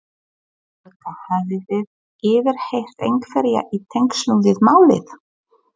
Guðný Helga: Hafið þið yfirheyrt einhverja í tengslum við málið?